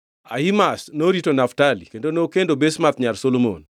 Ahimaz norito Naftali (kendo nokendo Basemath nyar Solomon);